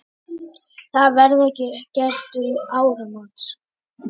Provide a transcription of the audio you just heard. Það verði gert um áramót.